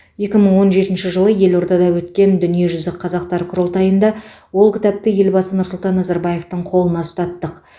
екі мың он жетінші жылы елордада өткен дүниежүзі қазақтар құрылтайында ол кітапты елбасы нұрсұлтан назарбаевтың қолына ұстаттық